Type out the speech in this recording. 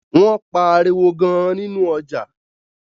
Wón pá àriwo gaan ninu ọjà